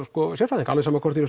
sérfræðinga alveg sama hvort þeir